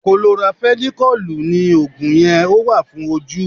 Kolorafenikọ́lùù ni Ògùn yẹn, ó wà fún ojú.